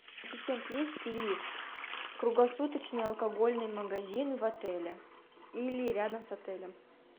ассистент есть ли круглосуточный алкогольный магазин в отеле или рядом с отелем